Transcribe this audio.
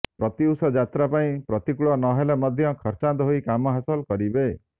ପ୍ରତ୍ୟୁଷ ଯାତ୍ରା ପାଇଁ ପ୍ରତିକୁଳ ନ ହେଲେ ମଧ୍ୟ ଖର୍ଚ୍ଚାନ୍ତ ହୋଇ କାମ ହାସଲ କରିବେ